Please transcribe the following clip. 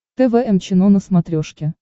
тэ вэ эм чено на смотрешке